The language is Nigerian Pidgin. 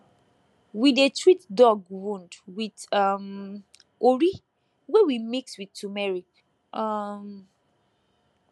we dey treat dog wound with um ori wey we mix with turmeric um